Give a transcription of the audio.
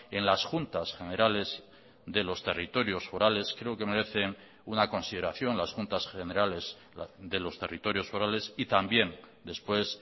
en las juntas generales de los territorios forales creo que merecen una consideración las juntas generales de los territorios forales y también después